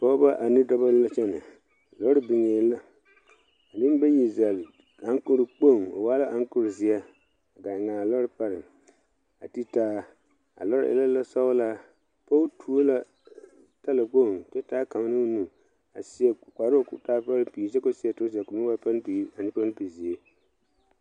Pɔgeba ane dɔba la kyɛnɛ lɔre biŋee la ka nembayi zɛlle aŋkorɔ kpoŋ o waa la aŋkorɔ zeɛ gaa eŋ a lɔre pareŋ a te taa a lɔre e la lɔsɔglaa pɔge tuo la talakpoŋ kyɛ taa kaŋ ne o nu a seɛ kparoŋ ka taa palaŋpigri kyɛ seɛ turɔza ka o meŋ waa palaŋpigri ane palaŋpigzeere.